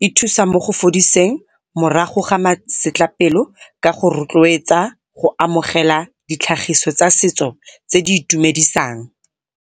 di thusa mo go fodiseng morago ga masetlapelo ka go rotloetsa go amogela ditlhagiso tsa setso tse di itumedisang.